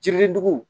Jiri dugu